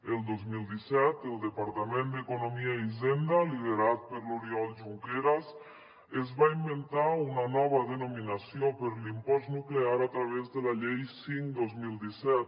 el dos mil disset el departament d’economia i hisenda liderat per l’oriol junqueras es va inventar una nova denominació per a l’impost nuclear a través de la llei cinc dos mil disset